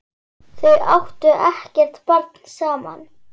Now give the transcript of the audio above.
Þau áttu ekkert barn saman.